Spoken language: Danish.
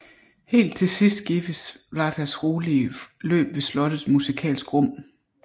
Helt til sidst gives Vltavas rolige løb ved slottet musikalsk rum